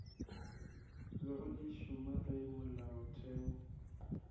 bego di šoma ge molaotheo